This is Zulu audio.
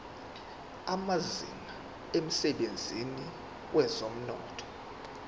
amazinga emsebenzini wezomnotho